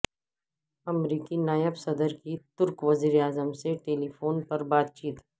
امریکی نائب صدر کی ترک وزیر اعظم سے ٹیلی فون پر بات چیت